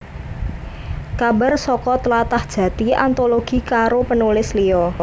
Kabar saka Tlatah Jati antologi karo penulis liya